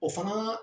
O fana